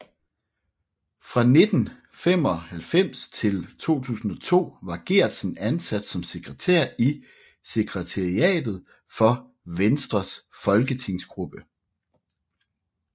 Fra 1995 til 2002 var Geertsen ansat som sekretær i sekretariatet for Venstres folketingsgruppe